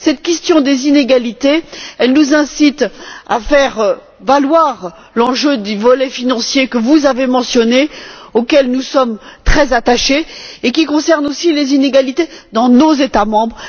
Cette question des inégalités nous incite à faire valoir l'enjeu du volet financier que vous avez mentionné, auquel nous sommes très attachés et qui concerne aussi les inégalités dans nos États membres.